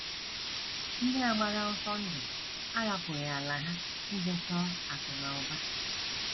Ndị a gbara ọsọ ndụ ahapụghị ala ha ije chọọ akụ̀ na ụba.